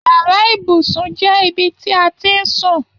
Yàrá ibùsùn jẹ ibi ti a n sún